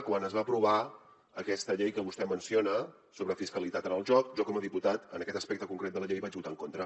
quan es va aprovar aquesta llei que vostè menciona sobre fiscalitat en el joc jo com a diputat en aquest aspecte concret de la llei vaig votar en contra